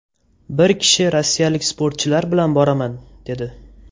Bir kishi rossiyalik sportchilar bilan boraman, dedi.